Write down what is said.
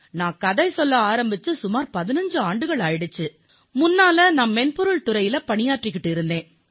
நான் கதை சொல்ல ஆரம்பித்து சுமார் 15 ஆண்டுகள் ஆகிவிட்டன முன்னர் நான் மென்பொருள் துறையில் பணியாற்றி வந்தேன்